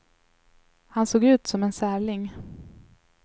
Han såg ut som en särling.